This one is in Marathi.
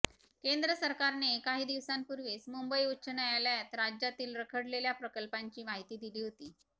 केंद्र सरकारने काही दिवसांपूर्वीच मुंबई उच्च न्यायालयात राज्यातील रखडलेल्या प्रकल्पांची माहिती दिली होती